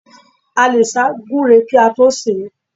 A lè sá gúre kí a tó sè é.